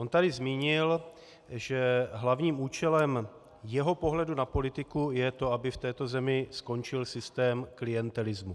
On tu zmínil, že hlavním účelem jeho pohledu na politiku je to, aby v této zemi skončil systém klientelismu.